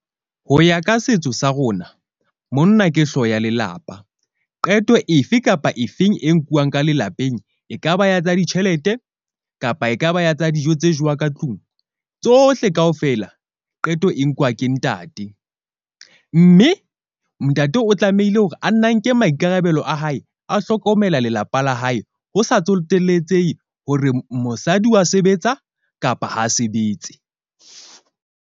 Ho ya ka setso sa rona, monna ke hlooho ya lelapa, qeto efe kapa efeng e nkuwang ka lelapeng, ekaba ya tsa ditjhelete, kapa ekaba ya tsa dijo tse jewang ka tlung. Tsohle kaofela qeto e nkuwa ke ntate, mme ntate o tlamehile hore a nne a nke maikarabelo a hae, a hlokomela lelapa la hae. Ho sa tsoteletsehe hore mosadi wa sebetsa kapa ha a sebetse.